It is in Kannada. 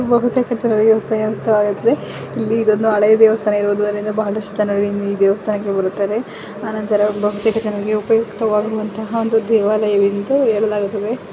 ಬಹುತೇಕ ಜನರಿಗೆ ಉಪಯೋಗ ಆಗುತ್ತೆ ಇಲ್ಲಿ ಒಂದು ಹಳೆಯ ದೇವಸ್ಥಾನ ಇರುವುದರಿಂದ ಬಹಳಷ್ಟು ಜನರಿಗೆ ಈ ದೆವಸ್ಥಾನಕ್ಕೆ ಬರುತ್ತಾರೆ ಆನಂತರ ಬಹುತೇಕ ಜನರಿಗೆ ಉಪಯಕ್ತವಗುವಂತಹ ಒಂದು ದೇವಾಲಯವೆಂದು ಹೇಳಲಾಗುತ್ತದೆ .